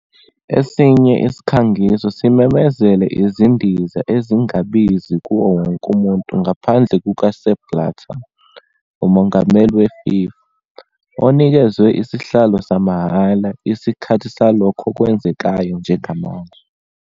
Esinye isikhangiso simemezele "izindiza ezingabizi kuwo wonke umuntu ngaphandle kuka- Sepp Blatter", umongameli we-FIFA, onikezwe isihlalo samahhala "isikhathi salokho okwenzekayo njengamanje".